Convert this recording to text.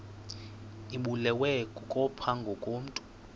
ibulewe kukopha ngokomntu